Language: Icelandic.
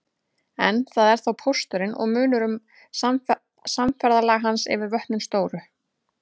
En það er þá pósturinn og munar um samferðalag hans yfir vötnin stóru.